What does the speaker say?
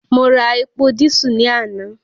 Mo ra epo dísù lánàá